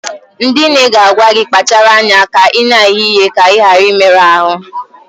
Ndị nne ga-agwa gị, kpachara anya na ị na-eghe ihe ka ị ghara ịmerụ ahụ